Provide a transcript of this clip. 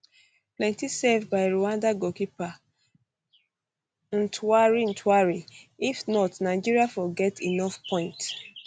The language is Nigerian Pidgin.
plenti save by rwanda goalkeeper ntwari ntwari if not nigeria for get enough point